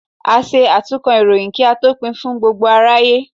À ṣe atúnkọ ìròyìn, ki a tó pín fún gbógbo aráyé.